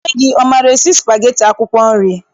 Nne gị, ọ maara esi spageti akwụkwọ nri?